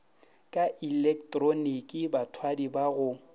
ka ilektroniki bathwadi ba go